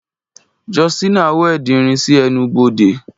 Justina welded irin si ẹnu-bode.